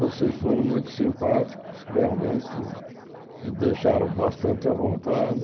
Vocês foram muito simpáticos, realmente me deixaram bastante à vontade.